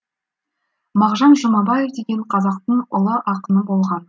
мағжан жұмабаев деген қазақтың ұлы ақыны болған